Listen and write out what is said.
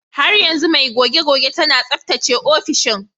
Har yanzu mai goge-goge tana tsaftace ofishin.